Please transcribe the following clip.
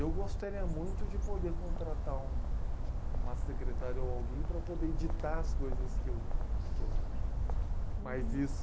Eu gostaria muito de poder contratar um, uma secretária ou alguém para poder editar as coisas que eu, que eu... Mas isso...